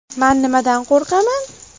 Man nimadan qo‘rqaman.